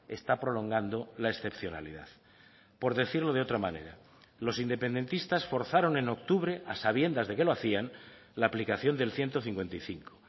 está prolongando la excepcionalidad por decirlo de otra manera los independentistas forzaron en octubre a sabiendas de que lo hacían la aplicación del ciento cincuenta y cinco